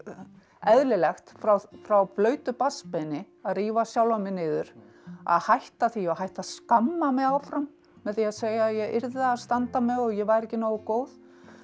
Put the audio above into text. eðlilegt frá frá blautu barnsbeini að rífa sjálfa mig niður að hætta því og hætta að skamma mig áfram með því að segja að ég yrði að standa mig og ég væri ekki nógu góð